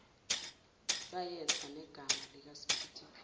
sayetha negama likasiphithiphithi